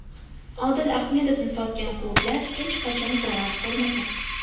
Odil Ahmedovni sotgan klublar hech qachon zarar ko‘rmagan.